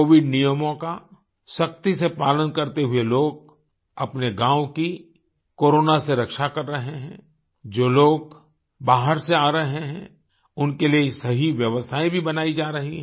Covid नियमों का सख्ती से पालन करते हुए लोग अपने गाँव की कोरोना से रक्षा कर रहे हैं जो लोग बाहर से आ रहे हैं उनके लिए सही व्यवस्थायें भी बनाई जा रही हैं